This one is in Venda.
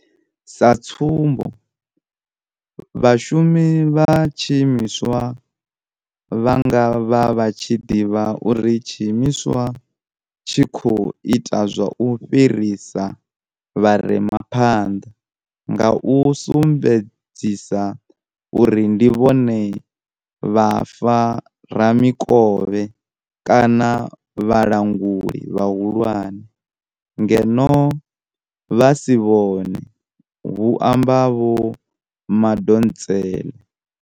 Sa tsumbo, vhashumi vha tshiimiswa vha nga vha vha tshi ḓivha uri tshiimiswa tshi khou ita zwa u fhirisa vhare ma phanḓa nga u sumbe dzisa uri ndi vhone vhafa ramikovhe kana vhalanguli vhahulwane, ngeno vha si vhone, hu amba Vho Madonsela.